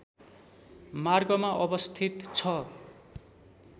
मार्गमा अवस्थित छ